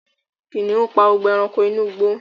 Kìnìún pa gbogbo ẹranko inú igbó